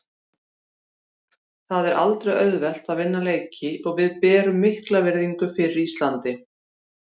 Það er aldrei auðvelt að vinna leiki og við berum mikla virðingu fyrir Íslandi.